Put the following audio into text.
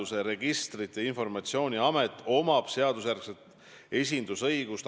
Jah, ma vastasin Taavi Rõivase mõlemale küsimusele, et mida ma teen.